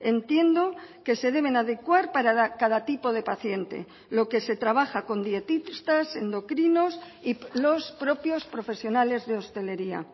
entiendo que se deben adecuar para cada tipo de paciente lo que se trabaja con dietistas endocrinos y los propios profesionales de hostelería